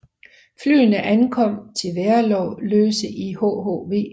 Flyene ankom til Værløse i hhv